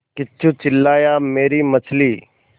किच्चू चिल्लाया मेरी मछली